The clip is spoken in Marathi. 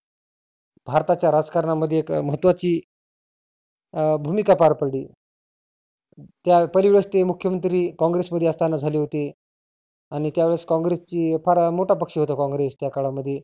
भारताच्या राजकारणामध्ये एक महत्वाची अं भुमीका पार पडली त्या परिव्यस्ती मुख्यमंत्री कॉंग्रेस मध्ये असताना झाली होती. आणि त्या वेळेस कॉंग्रेसची फार मोठा पक्ष होता कॉंग्रेस त्या काळामध्ये.